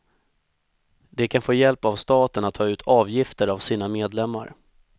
De kan få hjälp av staten att ta ut avgifter av sina medlemmar.